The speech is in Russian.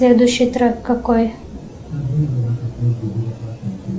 следующий трек какой